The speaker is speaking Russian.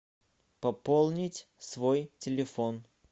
пополнить свой телефон